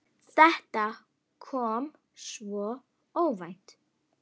Þetta kom svo óvænt.